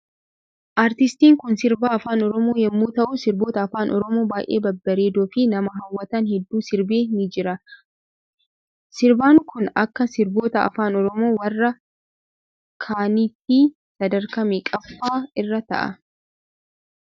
Aartistiin Kun sirbituu afaan oromoo yommuu ta'uu sirboota afaan oromoo baay'ee babbareedoo fi nama hawwatan hedduu sirbee ni jira. sir ituun Kun Akka sirbitoota afaan oromoo warra kaaniityi sadarkaa meeqaffa irra ta'a?